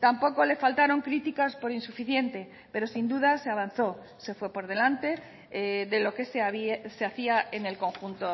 tampoco le faltaron críticas por insuficiente pero sin duda se avanzó se fue por delante de lo que se hacía en el conjunto